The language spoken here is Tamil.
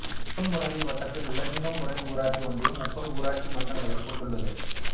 சிங்கம்புணரி வட்டத்தில் உள்ள சிங்கம்புனரி ஊராட்சி ஒன்றியம் முப்பது ஊராட்சி மன்றங்களைக் கொண்டுள்ளது